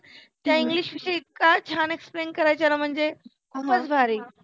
त्या इंग्लिश विषय इतक्या छान explain करायच्या ना म्हणजे, खुपच भारी